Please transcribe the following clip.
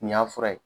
Nin y'a fura ye